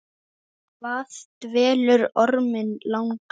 Hvað dvelur orminn langa?